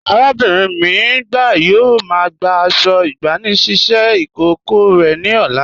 Arábinrin mi agba yóò má gbà àṣọ̀ ìgbànisíṣẹ̀ ikókọ̀ rẹ ni ọ̀là.